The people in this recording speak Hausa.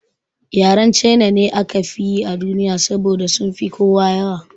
Yaren China ne aka fi yi a duniya saboda sunfi kowa yawa